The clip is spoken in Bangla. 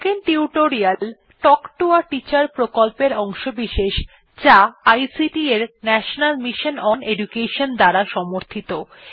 spoken tutorial talk to a teacher প্রকল্পের অংশবিশেষ যা আইসিটি এর ন্যাশনাল মিশন ওন এডুকেশন দ্বারা সমর্থিত